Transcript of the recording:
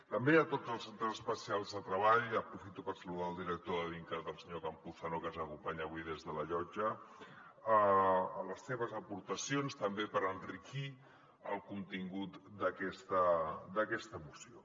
també a tots els centres especials de treball aprofito per saludar el director de dincat el senyor campuzano que ens acompanya avui des de la llotja a les seves aportacions també per enriquir el contingut d’aquesta moció